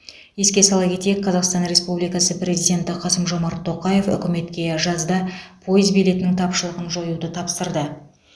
еске сала кетейік қазақстан республикасы президенті қасым жомарт тоқаев үкіметке жазда пойыз билетінің тапшылығын жоюды тапсырды